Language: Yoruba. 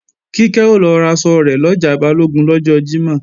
Kíkẹ́ o lọ raṣọ rẹ̀ lọjà Balógun lọ́jọ́ Jímọ̀